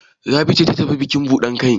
Rabi ce ta tafi bukin buɗan kai?